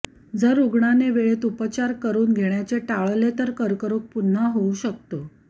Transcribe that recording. जर रुग्णाने वेळेत उपचार करवून घेण्याचे टाळले तर कर्करोग पुन्हा होऊ शकतो